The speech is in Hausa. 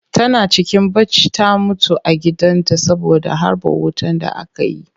Tana cikin bacci ta mutu a gidan ta saboda harbo wutan da aka yi